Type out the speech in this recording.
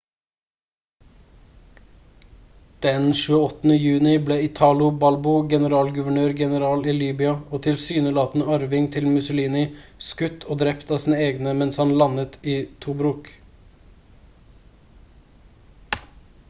den 28. juni ble italo balbo generalguvernør-general i libya og tilsynelatende arving til mussolini skutt og drept av sine egne mens han landet i tobruk